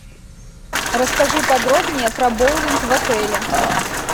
расскажи подробнее про боулинг в отеле